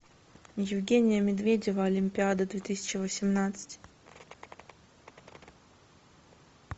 евгения медведева олимпиада две тысячи восемнадцать